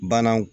Banan